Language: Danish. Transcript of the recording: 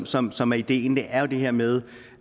som som er ideen det er jo det her med